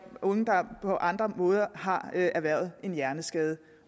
unge der på andre måder har erhvervet en hjerneskade